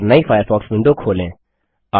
और नई Firefox window खोलें